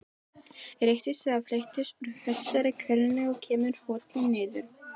Réttist eða fletjist úr þessari hvelfingu, kemur holilin niður.